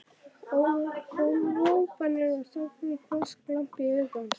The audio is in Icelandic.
hrópanir og það kom hvass glampi í augu hans.